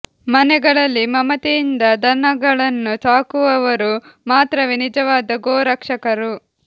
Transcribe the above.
ಮನೆಗಳಲ್ಲಿ ಮಮತೆಯಿಂದ ದನಗ ಳನ್ನು ಸಾಕುವವರು ಮಾತ್ರವೇ ನಿಜವಾದ ಗೋ ರಕ್ಷಕರು